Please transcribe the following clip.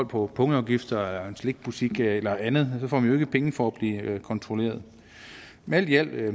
på punktafgifter i en slikbutik eller andet får man jo ikke penge for at blive kontrolleret men alt i alt er